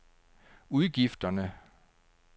udgifterne